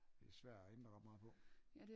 Det er svær at ændre ret meget på